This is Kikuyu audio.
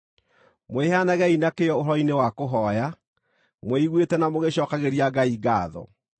Mwĩheanagei na kĩyo ũhoro-inĩ wa kũhooya, mwĩiguĩte na mũgĩcookagĩria Ngai ngaatho.